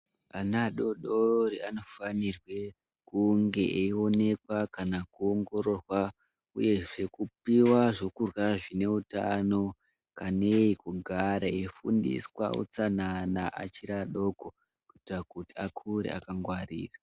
Ana adodori anofanirwe kunge eionekwa kana kuongororwa uyezve kupiwa zvekurya zvine utano kanei kugare eifundiswa utsanana achiri adoko kuti akure akangwarira.